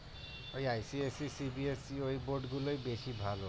ওই বোর্ড গুলোই বেশি ভালো